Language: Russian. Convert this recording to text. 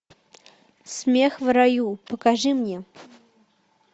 смех в раю покажи мне